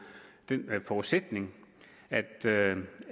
den forudsætning at